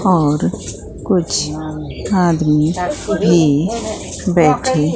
और कुछ आदमी भी बैठे--